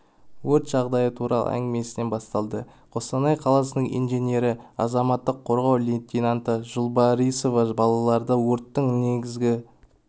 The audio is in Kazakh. өрт жағдайы туралы әңгімесінен басталды қостанай қаласының инженері азаматтық қорғау лейтенанты жулбарисова балаларды өрттің негізгі